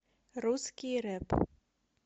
русский рэп